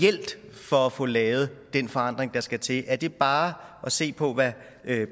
for at få lavet den forandring der skal til er det bare at se på hvad